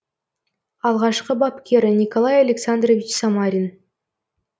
алғашқы бапкері николай александрович самарин